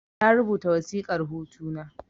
Na rubuta wasiƙar hutu na